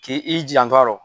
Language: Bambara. K'i janto a rɔ